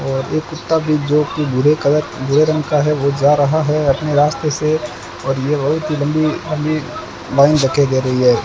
और एक कुत्ता भी जो कि भूरे कलर भूरे रंग का है वो जा रहा है अपने रास्ते से और ये बहुत लंबी लंबी लाइन धक्के घे रही है।